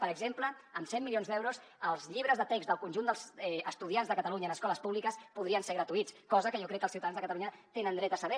per exemple amb cent milions d’euros els llibres de text del conjunt dels estudiants de catalunya en escoles públiques podrien ser gratuïts cosa que jo crec que els ciutadans de catalunya tenen dret a saber